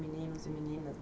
Meninos e meninas.